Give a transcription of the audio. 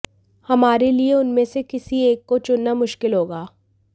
हमारे लिए उनमें से किसी एक को चुनना मुश्किल होगा